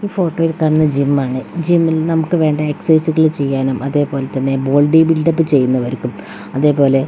ഈ ഫോട്ടോയിൽ കാണുന്നത് ജിം ആണ് ജിമ്മിൽ നമുക്ക് വേണ്ട എക്സസൈസുകൾ ചെയ്യാനും അതേ പോലെ തന്നെ ബോഡി ബിൽഡ് അപ്പ് ചെയ്യുന്നവർക്കും അതേ പോലെ വെയിറ്റ് ലോസ് --